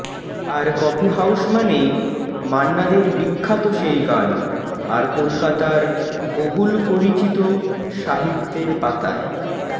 আর coffee house মানেই মান্না দের বিখ্যাত সেই গান আর কলকাতার বহুল পরিচিত সাহিত্যের পাতায়